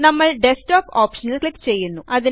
നമ്മൾDesktop ഓപ്ഷനിൽ ക്ലിക്ക് ചെയ്യുന്നു